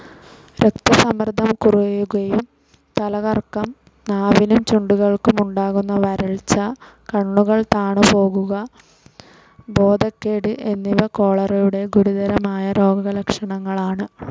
രക്തസമ്മർദ്ദം കുറയുകയും തലകറക്കം, നാവിനും ചുണ്ടുകൾക്കും ഉണ്ടാകുന്ന വരൾച്ച, കണ്ണുകൾ താണുപോകുക, ബോധക്കേട് എന്നിവ കോളറയുടെ ഗുരുതരമായ രോഗലക്ഷണങ്ങളാണ്‌.